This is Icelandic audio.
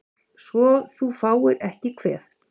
Svo þú fáir ekki kvef